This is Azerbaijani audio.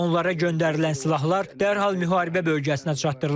Onlara göndərilən silahlar dərhal müharibə bölgəsinə çatdırılacaq.